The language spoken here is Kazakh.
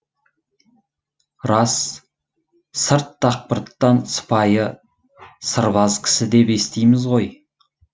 рас сырт дақпырттан сыпайы сырбаз кісі деп естиміз ғой